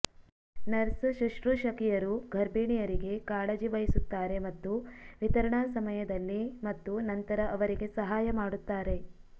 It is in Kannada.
ನರ್ಸ್ ಶುಶ್ರೂಷಕಿಯರು ಗರ್ಭಿಣಿಯರಿಗೆ ಕಾಳಜಿ ವಹಿಸುತ್ತಾರೆ ಮತ್ತು ವಿತರಣಾ ಸಮಯದಲ್ಲಿ ಮತ್ತು ನಂತರ ಅವರಿಗೆ ಸಹಾಯ ಮಾಡುತ್ತಾರೆ